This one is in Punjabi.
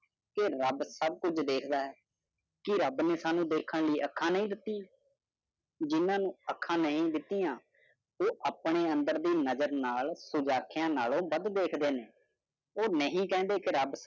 ਕੇ ਰੱਬ ਸਬ ਕੁਛ ਦੇਖਦਾ ਹੈ। ਕਿ ਰੱਬ ਨੇ ਸਾਨੂ ਦੇਖਣ ਲਯੀ ਅੱਖਾਂ ਨਹੀਂ ਦਿਤੀ? ਜਿਹਨਾਂ ਨੂੰ ਅੱਖਾਂ ਨਹੀਂ ਦਿਤੀਆਂ ਉਹ ਅਪਣੇ ਅੰਦਰ ਦੀ ਨਜ਼ਰ ਨਾਲ ਆਖਿਆ ਨਾਲੋਂ ਵੱਧ ਦੇਖਦੇ ਨੇ। ਉਹ ਨਹੀਂ ਕਹਿੰਦੇ ਕੇ ਰੱਬ